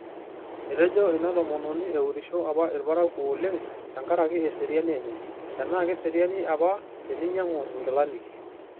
Etejo ina tomononi eurisho apa ilparakuo oleng tenkaraki eseriani enye - tenaa keserian apa teninyangu ingilani.